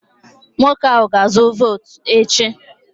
Nwoke ahụ ga-azụ votu echi